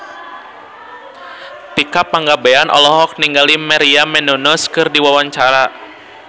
Tika Pangabean olohok ningali Maria Menounos keur diwawancara